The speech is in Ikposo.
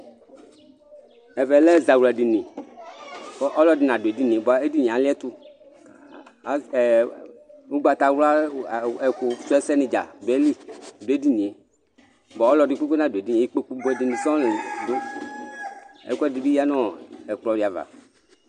ɛvɛ lɛ zawla dini kɔ ɔlɔdï na duedinié bua édinié aliɛtũ az e ũgbata wlua wa ekũ sũesɛ ni dza duaili duedinié bua ɔlɔdi kpekpe nadu edinié ikpokũ buɛ dini soɔ le dũ ɛkũɛdi bi ya nɔ ɛkpɔ diava